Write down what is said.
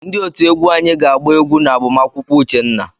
Ndị otú egwu anyị ga-agba egwu n'agbamakwụkwọ Uchenna.